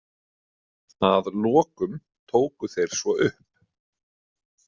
Að lokum tóku þeir svo upp.